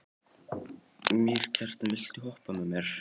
Mýrkjartan, viltu hoppa með mér?